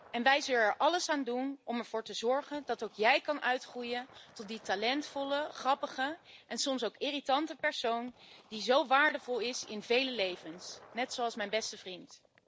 En wij zullen er alles aan doen om ervoor te zorgen dat ook jij kan uitgroeien tot die talentvolle, grappige en soms ook irritante persoon die zo waardevol is in vele levens. Net zoals mijn beste vriend.